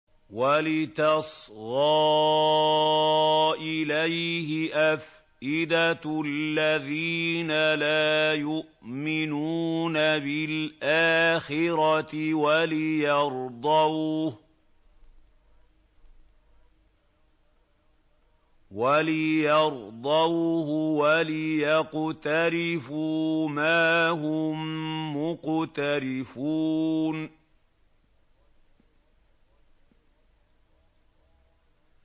وَلِتَصْغَىٰ إِلَيْهِ أَفْئِدَةُ الَّذِينَ لَا يُؤْمِنُونَ بِالْآخِرَةِ وَلِيَرْضَوْهُ وَلِيَقْتَرِفُوا مَا هُم مُّقْتَرِفُونَ